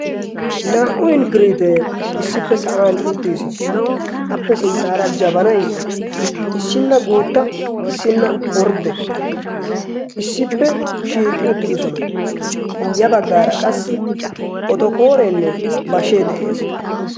naa77u ingiriitee issippe sa7an uttiis. appe sinttaara jabanai issinna guutta issinna ordde issippe shiiqi uttidosona.ya baggaara qassi otokooreenne bashee de7ees.